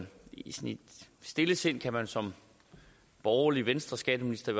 i sit stille sind kan man som borgerlig venstreskatteminister